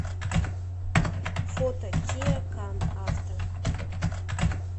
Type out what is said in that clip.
фото киа кан авто